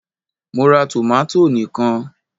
Mo ra tòmátò ni kan